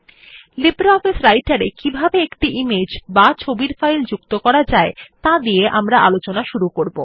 LibreOffice রাইটের এ কিভাবে একটি ইমেজ বা ছবির ফাইল যুক্ত করা যায় তা দিয়ে আমরা আলোচনা শুরু করব